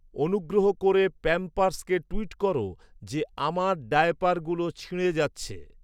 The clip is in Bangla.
অনুগ্রহ করে প্যাম্পারস্ কে টুইট কর যে আমার ডায়াপারগুলো ছিঁড়ে যাচ্ছে